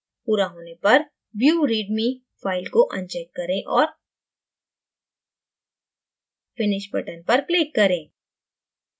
पूरा होने पर view readme file को अनचेक करें और finish button पर click करें